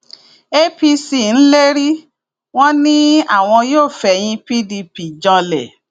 apc ń lérí wọn ni àwọn yóò fẹyìn pdp janlẹ